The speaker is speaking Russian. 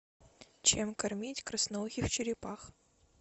чем кормить красноухих черепах